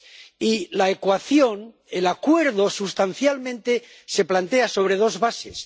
Y la ecuación, el acuerdo, sustancialmente, se plantea sobre dos bases.